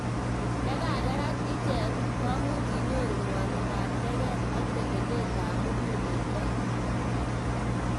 Yekakerak ichek komuch inyoru ngwanindo ab teget ak telelet ab muguleldo.